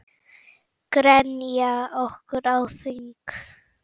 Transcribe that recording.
Grenjað okkur á þing?